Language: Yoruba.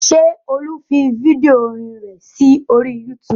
Ṣé Olú fi fídíò orin rẹ̀ sí orí YouTube?